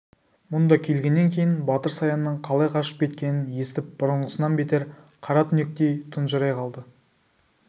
мұнда келгеннен кейін батыр саянның қалай қашып кеткенін естіп бұрынғысынан бетер қара түнектей тұнжырай қалды